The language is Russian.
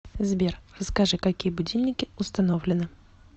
сбер расскажи какие будильники установлены